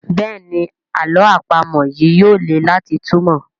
Béèni àlọ́ àpamọ̀ yí yóò lẹ láti túmọ.